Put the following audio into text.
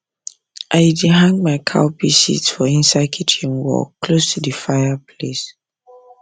i dey hang my cowpea seeds for inside kitchen wall close to the fire place